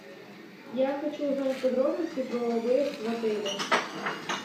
я хочу узнать подробности про выезд в отеле